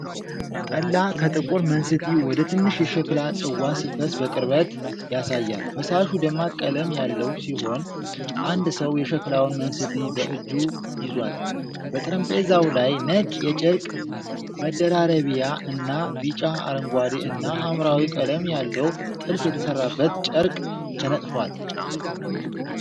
ጠላ ከጥቁር መንስቲ ወደ ትንሽ የሸክላ ጽዋ ሲፈስ በቅርበት ያሳያል። ፈሳሹ ደማቅ ቀለም ያለው ሲሆን፤ አንድ ሰው የሸክላውን መንስቲ በእጁ ይዟል። በጠረጴዛው ላይ ነጭ የጨርቅ መደራረቢያ እና ቢጫ፣ አረንጓዴ እና ሐምራዊ ቀለም ያለው ጥልፍ የተሠራበት ጨርቅ ተነጥፏል።